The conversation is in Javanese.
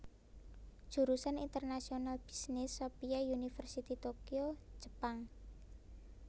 Jurusan International Business Sophia University Tokyo Jepang